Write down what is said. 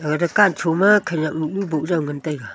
a dukan cho ma khaniak numnu bujao ngan taig.